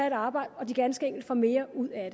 et arbejde at de ganske enkelt får mere ud af